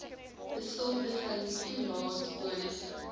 besoldiging toelaes bonusse